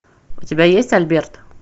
у тебя есть альберт